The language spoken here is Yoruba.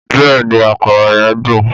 Bẹ́ẹ̀ni àkàrà yen dùn